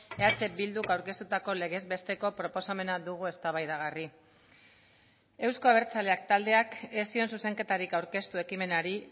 eh bilduk aurkeztutako legez besteko proposamena dugu eztabaidagarri euzko abertzaleak taldeak ez zion zuzenketarik aurkeztu ekimenari